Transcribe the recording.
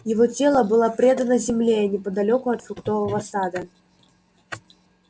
его тело было предано земле и неподалёку от фруктового сада